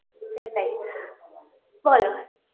সেটাই BREATH বলো